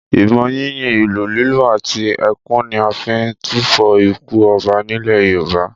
Ìbọn yínyìn, ìlù lílù àti ẹkún ni a fi ń túfọ̀ ikú ọba nílẹ̀ Yorùbá